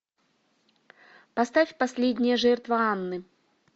поставь последняя жертва анны